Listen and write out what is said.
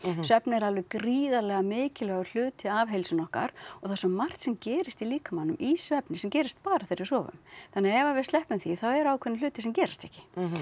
svefn er alveg gríðarlega mikilvægur hluti af heilsunni okkar og það er svo margt sem gerist í líkamanum í svefni sem gerist bara þegar við sofum þannig að ef við sleppum því þá eru ákveðnir hlutir sem gerast ekki